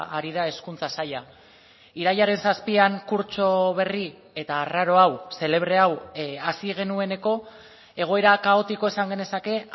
ari da hezkuntza saila irailaren zazpian kurtso berri eta arraro hau xelebre hau hasi genueneko egoera kaotiko esan genezake